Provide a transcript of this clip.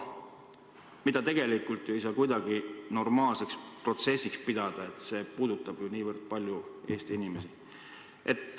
Seda tegelikult ei saa kuidagi normaalseks protsessiks pidada, see puudutab nii paljusid Eesti inimesi.